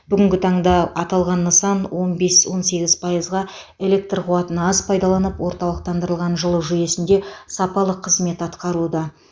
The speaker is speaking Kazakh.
бүгінгі таңда аталған нысан он бес он сегіз пайызға электр қуатын аз пайдаланып орталықтандырылған жылу жүйесінде сапалы қызмет атқаруда